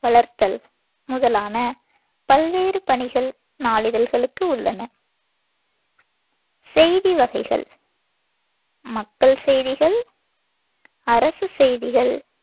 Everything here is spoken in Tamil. வளர்த்தல். முதலான பல்வேறு பணிகள் நாளிதழ்களுக்கு உள்ளன செய்தி வகைகள் மக்கள் செய்திகள் அரசுச் செய்திகள்,